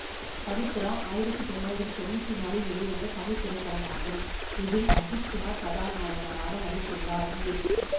பவித்ரா ஆயிரத்தி தொள்ளாயிரத்தி தொன்னூற்தி நாலில் வெளிவந்த தமிழ் திரைப்படமாகும் இதில் அஜித்குமார் கதாநாயகனாக நடித்துள்ளார் ஏ